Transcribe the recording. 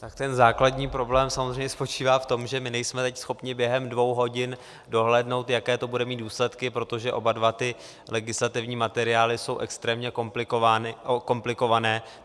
Tak ten základní problém samozřejmě spočívá v tom, že my nejsme teď schopni během dvou hodin dohlédnout, jaké to bude mít důsledky, protože oba dva ty legislativní materiály jsou extrémně komplikované.